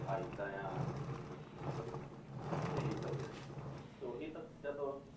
ਆਹ ਏਦਾਂ ਆ ਇਹ ਸਭ ਆ ਤੇ ਉਹੀ ਤਾਂ ਫਿਰ ਜਦੋਂ